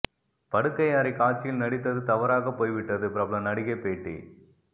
படுக்கை அறை காட்சியில் நடித்தது தவறாகப் போய்விட்டது பிரபல நடிகை பேட்டி